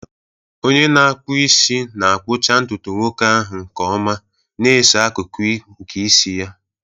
Onye na-akpụ isi na-akpụcha ntutu nwoke ahụ nke ọma, na-eso akụkụ nke isi ya.